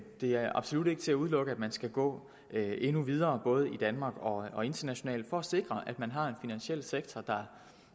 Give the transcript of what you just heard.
det er absolut ikke til at udelukke at man skal gå endnu videre både i danmark og internationalt for at sikre at man har en finansiel sektor der